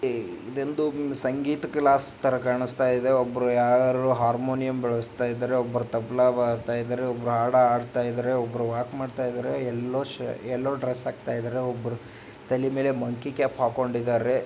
ಇದೊಂದು ಸಂಗೀತ ಕ್ಲಾಸ್ ತರ ಕಾಣಿಸ್ತಾ ಇದೆ. ಒಬ್ರು ಯಾರೋ ಹಾರ್ಮೋನಿಯಂ ಬಾರಿಸ್ತಾ ಇದಾರೆ ಒಬ್ರು ತಬಲಾ ಬಾರಿಸ್ತಾ ಇದಾರೆ ಒಬ್ರು ಹಾಡ ಹಾಡ್ತಾ ಇದ್ದಾರೆ ಒಬ್ರು ವಾಕ್ ಮಾಡ್ತಾ ಇದಾರೆ. ಯಲ್ಲೋ ಯಲ್ಲೋ ಡ್ರೆಸ್ ಹಾಕ್ತ ಇದಾರೆ ಒಬ್ರು ತಲೆ ಮೇಲೆ ಮಂಕಿ ಕ್ಯಾಪ್ ಹಾಕೊಂಡಿದರೆ.